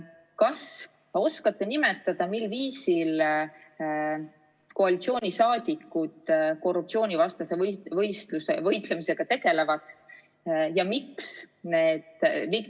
Kas te oskate nimetada, mil viisil koalitsiooniliikmed korruptsiooni vastu võitlemisega tegelevad?